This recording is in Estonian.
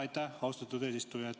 Aitäh, austatud eesistuja!